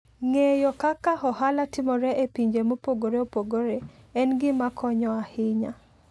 Ng'eyo kaka ohala timore e pinje mopogore opogore en gima konyo ahinya.